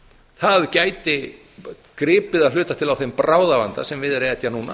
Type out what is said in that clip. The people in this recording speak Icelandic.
það gæti gripið að hluta til á þeim bráðavanda sem er að etja núna